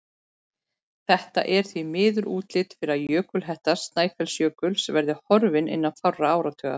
Það er því miður útlit fyrir að jökulhetta Snæfellsjökuls verði horfin innan fárra áratuga.